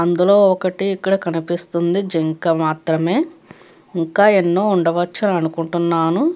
అందులో ఒకటి ఇక్కడ కనిపిస్తుంది. జింక మాత్రమే. ఇంకా ఎన్నో ఉండవచ్చు అని అనుకుంటున్నాను.